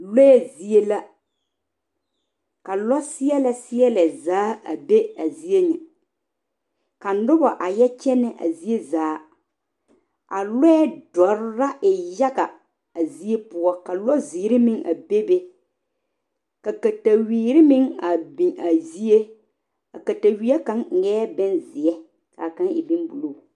Lɔɛ zie la ka lɔ seɛle seɛle zaa a be a zie ŋa ka noba a yɛ kyɛne a zie zaa a lɔɛ dɔre la e yaga a zie poɔ ka lɔ ziiri meŋ a be be ka katawiire meŋ a biŋ a zie a katawiɛ kaŋa eɛ bonziɛ kaa kaŋa e bon buluu.